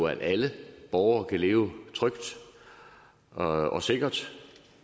at alle borgere kan leve trygt og og sikkert